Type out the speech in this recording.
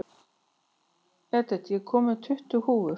Edith, ég kom með tuttugu húfur!